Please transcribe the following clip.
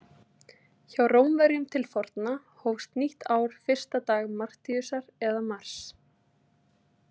Hjá Rómverjum til forna hófst nýtt ár fyrsta dag Martiusar eða mars.